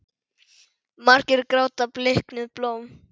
Margir gráta bliknuð blóm.